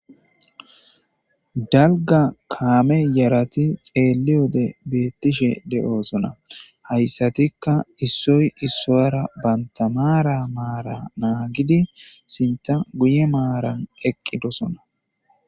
dalga kaame yarati xeelli wode beettishe de7osona hayssatikka issoy issoyara bantamaara maara naagidi sinta guye maaran eqqidosona